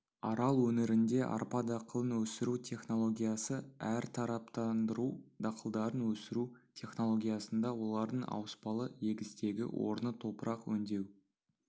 арал өңірінде арпа дақылын өсіру технологиясы әртараптандыру дақылдарын өсіру технологиясында олардың ауыспалы егістегі орны топырақ өңдеу